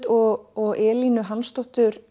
og Elínu